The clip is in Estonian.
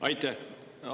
Aitäh!